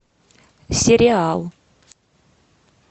сериал